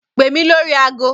Pè mí lórí agọ.